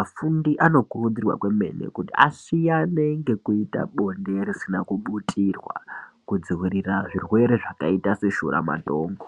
afundi anokurudzirwa kwemene kuti asiyane nekuita bonde risina kuputirwa kudziirira zvirwere zvakaita seshuramatongo.